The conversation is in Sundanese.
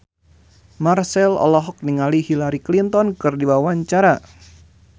Marchell olohok ningali Hillary Clinton keur diwawancara